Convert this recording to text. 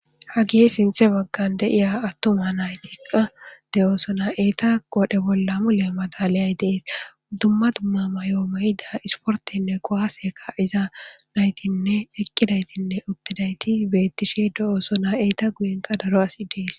Hage sinthe baggan de'iya attuma naytiqa de'oosona. Eeta qore bolla mule madalay dees. Dumma dumma mayoo mayida isportenne kuwaseka iza naytinne eqqidaytinne uttidayti beettishe de'oosona .Eeta guyen qa daro asi dees.